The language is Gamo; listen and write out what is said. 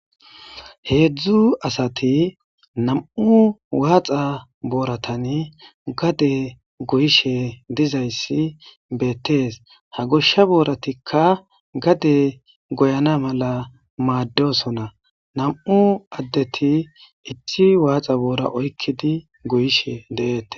Heezu asathi nam7u waaxa boorathani gade goyishee dizayssi beeththees; ha goshsha boorathikka gadee goyana mala maaddoosona; nam7u addethi issi waaxa booraa oyqqidi goyishee de7eeththes.